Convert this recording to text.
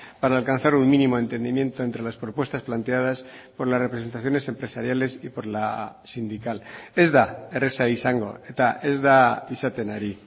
para alcanzar un mínimo entendimiento entre las propuestas planteadas por las representaciones empresariales y por la sindical ez da erraza izango eta ez da izaten ari